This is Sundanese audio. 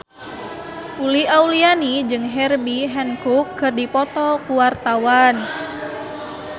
Uli Auliani jeung Herbie Hancock keur dipoto ku wartawan